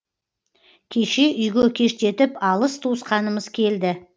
кеше үйге кештетіп алыс туысқанымыз келді